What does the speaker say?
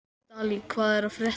Dalí, hvað er að frétta?